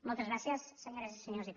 moltes gràcies senyores i senyors diputats